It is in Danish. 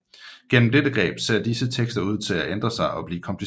Gennem dette greb ser disse tekster ser ud til at ændre sig og blive komplicerede